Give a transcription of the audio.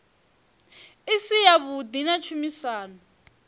i si yavhuḓi na tshumisano